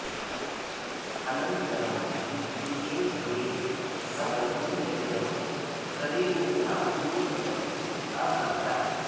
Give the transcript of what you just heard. अनन्तरं द्वितीये भवे सः विन्ध्यगिरौ करिणीनां युथपतिः अभवत्